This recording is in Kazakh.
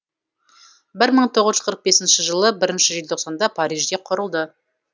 бір мың тоғыз жүз қырық бесінші жылы бірінші желтоқсанда парижде құрылды